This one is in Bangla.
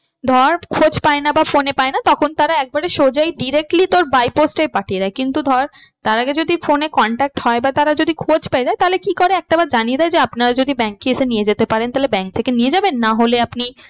ধর খোঁজ পায় না বা phone এ পায় না তখন তারা একবারে সজাই directly তোর by post এই পাঠিয়ে দেয়। কিন্তু ধর তার আগে যদি phone এ contact হয় বা তারা যদি খোঁজ পেয়ে যায় তাহলে কি করে একটা বার জানিয়ে দেয় যে আপনারা যদি bank এ এসে নিয়ে যেতে পারেন তাহলে bank থেকে নিয়ে যাবেন। না হলে আপনি